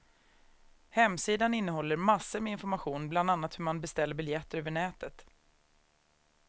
Hemsidan innehåller massor med information, bland annat hur man beställer biljetter över nätet.